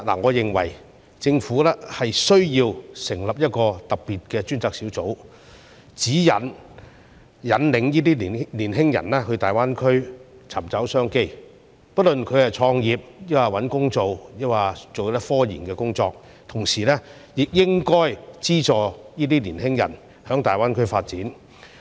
我認為政府需要成立一個特別專責小組，指引和引導青年人到大灣區尋找商機，不論他們是創業、找工作，或是從事科研工作；同時，當局亦應資助青年人在大灣區發展。